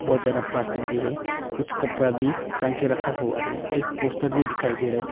बहुत ज्यादा प्लास्टिक भी है कुछ कपड़ा भी टांग के रखा हुआ है एक पोस्टर भी दिखाई दे रहा है।